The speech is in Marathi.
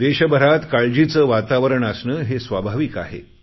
देशभरात काळजीचे वातावरण असणे हे स्वाभाविक आहे